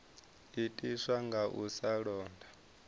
itiswa nga u sa londa